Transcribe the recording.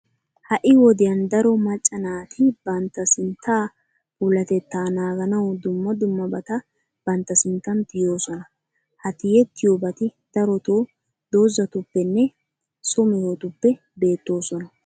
Ha"i wodiyan daro macca naati bantta sinttaa puulatettaa naaganawu dumma dummabata bantta sinttan tiyoosona. Ha tiyettiyobati darotoo dozatuppenne so mehetuppe beettoosona.